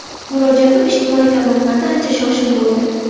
Murojaatim ijtimoiy tarmoqlarda ancha shov-shuv bo‘ldi.